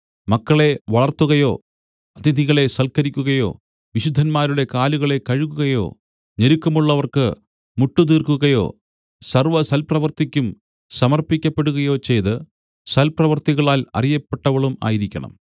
മക്കളെ വളർത്തുകയോ അതിഥികളെ സൽക്കരിക്കുകയോ വിശുദ്ധന്മാരുടെ കാലുകളെ കഴുകുകയോ ഞെരുക്കമുള്ളവർക്ക് മുട്ടുതീർക്കുകയോ സർവ്വസൽപ്രവൃത്തിയ്ക്കും സമർപ്പിക്കപ്പെടുകയോ ചെയ്ത് സൽപ്രവൃത്തികളാൽ അറിയപ്പെട്ടവളും ആയിരിക്കണം